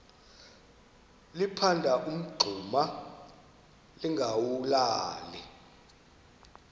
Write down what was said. liphanda umngxuma lingawulali